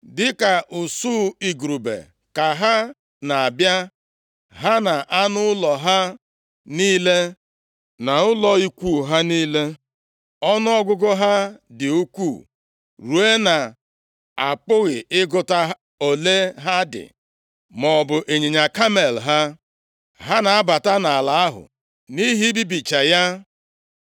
Dịka usuu igurube ka ha na-abịa, ha na anụ ụlọ ha niile, na ụlọ ikwu ha niile. Ọnụọgụgụ ha dị ukwuu ruo na-apụghị ịgụta ole ha dị, maọbụ ịnyịnya kamel ha. Ha na-abata nʼala ahụ nʼihi ibibicha ya.